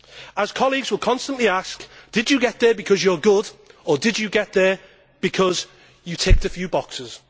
As colleagues will constantly ask, did you get there because you are good or did you get there because you ticked a few boxes?